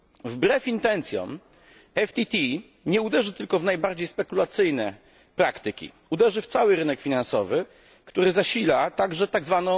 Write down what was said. Wbrew intencjom PTF nie uderzy tylko w najbardziej spekulacyjne praktyki, uderzy w cały rynek finansowy, który zasila także tzw.